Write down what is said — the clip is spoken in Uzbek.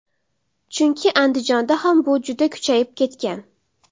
Chunki Andijonda ham bu juda kuchayib ketgan.